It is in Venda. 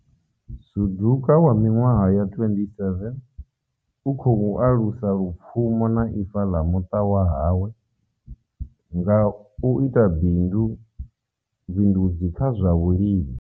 Suduka wa miṅwaha ya 27 u khou alusa lupfumo na ifa ḽa muṱa wa hawe nga u bindu bindudzi kha zwa vhulimi.